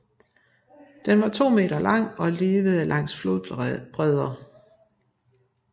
Den var 2 meter lang og levede langs flodbredder